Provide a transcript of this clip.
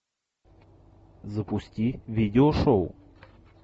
запусти видеошоу